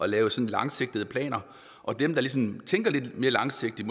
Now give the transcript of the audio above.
lave langsigtede planer og dem der ligesom tænker lidt mere langsigtet